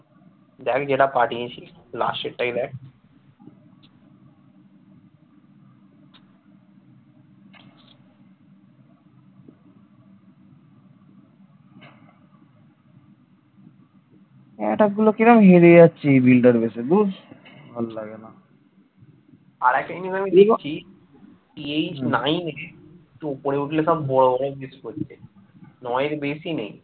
নয় এর বেশি নেই